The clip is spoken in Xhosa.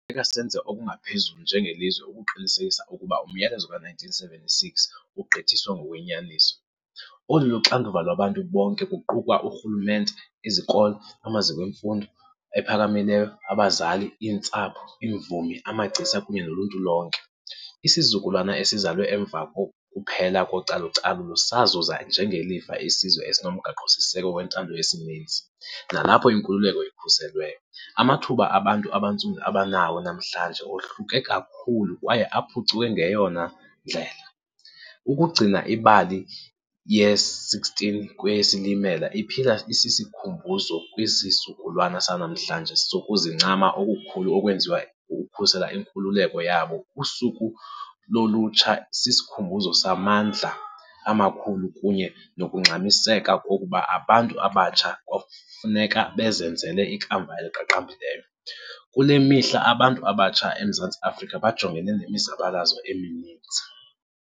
Kufuneka senze okungaphezulu njengelizwe ukuqinisekisa ukuba umyalezo ka-1976 ugqithiswa ngokwenyaniso. Olu luxanduva lwabantu bonke kuqukwa urhulumente, izikolo, amaziko emfundo ephakamileyo, abazali, iintsapho, iimvumi, amagcisa, kunye noluntu lonke. Isizukulwana esizalwe emva kokuphela kocalu-calulo sazuza njengelifa isizwe esinoMgaqo-siseko wentando yesininzi nalapho inkululeko ikhuselweyo. Amathuba abantu abantsundu abanawo namhlanje ohluke kakhulu kwaye aphucuke ngeyona ndlela. Ukugcina ibali ye-16 kweyeSilimela iphila isisikhumbuzo kwisizukulwana sanamhlanje sokuzincama okukhulu okwenziwa ukukhusela inkululeko yabo. USuku loLutsha sisikhumbuzo samandla amakhulu kunye nokungxamiseka kokuba abantu abatsha kwakufuneka bazenzele ikamva eliqaqambileyo. Kule mihla abantu abatsha eMzantsi Afrika bajongene nemizabalazo emininzi.